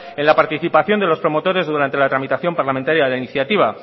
en la participación de los promotores durante la tramitación parlamentaria de la iniciativa